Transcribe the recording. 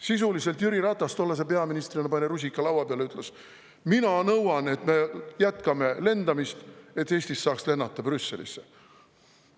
Sisuliselt Jüri Ratas tollase peaministrina pani rusika laua peale, ütles: "Mina nõuan, et me jätkame lendamist, et Eestist saaks lennata Brüsselisse.